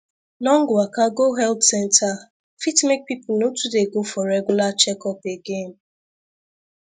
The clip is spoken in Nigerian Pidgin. long waka go health center fit make people no too dey go for regular checkup again